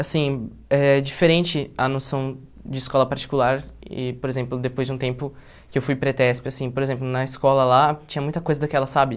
Assim, é diferente a noção de escola particular e, por exemplo, depois de um tempo que eu fui para a ETESP, assim, por exemplo, na escola lá tinha muita coisa daquela, sabe?